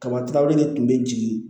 Kaba de tun bɛ jigin